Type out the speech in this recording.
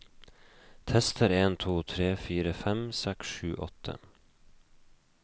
Tester en to tre fire fem seks sju åtte